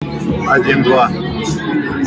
один два